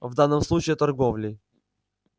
в данном случае торговлей